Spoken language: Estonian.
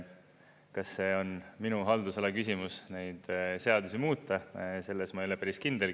Kas see on minu haldusala küsimus, neid seadusi muuta, selles ma ei ole päris kindel.